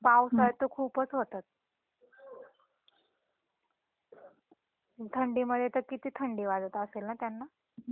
पावसात तर खूपच होतात. थंडी मध्ये तर किती थंडी वाजत असेल ना त्यांना.